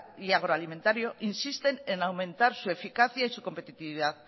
y agroalimentario insisten en aumentar su eficacia y su competitividad